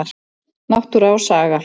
Náttúra og saga.